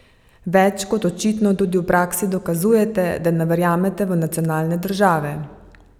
Več kot očitno tudi v praksi dokazujete, da ne verjamete v nacionalne države?